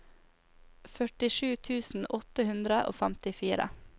førtisju tusen åtte hundre og femtifire